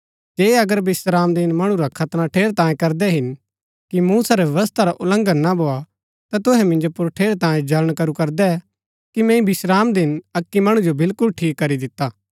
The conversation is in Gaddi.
जे अगर विश्रामदिन मणु रा खतना ठेरैतांये करदै हिन कि मूसा रै व्यवस्था रा उल्लंघन ना भोआ ता तुहै मिन्जो पुर ठेरैतांये जल्ळण करू करदै कि मैंई विश्रामदिन अक्की मणु जो बिलकुल ठीक करी दिता